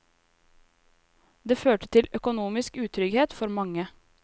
Det førte til økonomisk utrygghet for mange.